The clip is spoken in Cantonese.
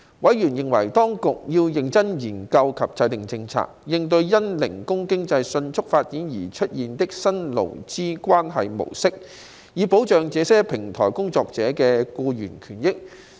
委員認為當局要認真研究及制訂政策，應對因零工經濟迅速發展而出現的新勞資關係模式，以保障這些平台工作者的僱員權益。